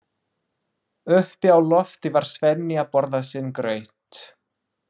Uppi á lofti var Svenni að borða sinn graut.